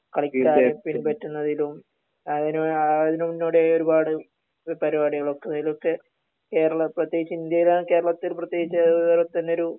കളിക്കാൻ പറ്റുന്നതിലും അങ്ങിനെ അതിന് മുന്നോടി ആയി ഒരുപാട് പരിപാടികൾ ഒക്കെ ഒക്കെ കേരളം പ്രത്യേകിച്ച് ഇന്ത്യയിൽ ആണ് കേരളത്തിൽ പ്രത്യേകിച്ച് വേറെത്തന്നെ ഒരു